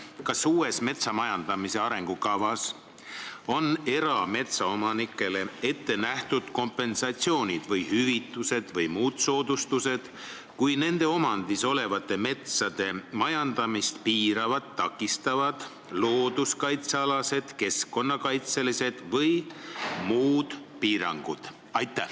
Kas uues metsanduse arengukavas on erametsaomanikele ette nähtud kompensatsioonid või hüvitised või muud soodustused, kui nende omandis oleva metsa majandamist piiravad ja takistavad looduskaitsealased, keskkonnakaitselised või muud piirangud?